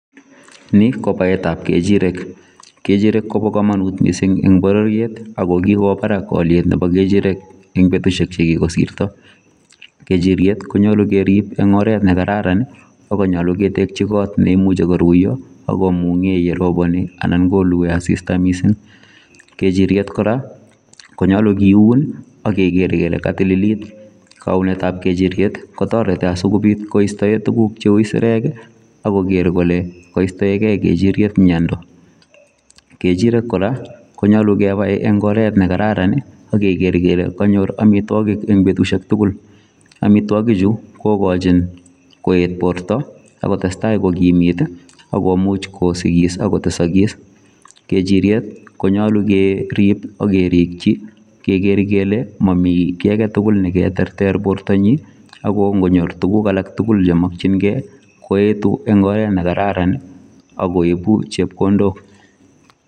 Ni ko baetap kechirek. Kechirek kopo komonut mising eng bororiet ako kikowo barak alyetap kechirek eng betishek chekikosirto. Kechiryet konyolu kerip eng oret nekararan akonyolu ketekchi kot neimuchi koruiyo akomung'e yeroponi anan kolue asista mising. Kechiryet kora konyolu kiun ak keker kele katililit. Kaunetap kechiryet kotoreti asikobit kokirinda tuguk cheu sirek akoker kole kaistoekei kechiryet miendo. Kechirek kora konyolu kepai eng oret nekararan akeker kele kanyor amitwokik eng betushek tugul. Amitwokichu kokochin koet borto akotestai kokimit akomuch kosikis akotesokis. Kechiryet konyolu kerip akerikchi keker kele mami kiy aketugul neketerter bortonyi ako nkonyor tuguk alak tukul chemokchingei koetu eng oret nekararan ak koipu chepkondok .